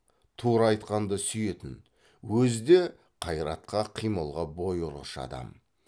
тура айтқанды сүйетін өзі де қайратқа қимылға бой ұрғыш адам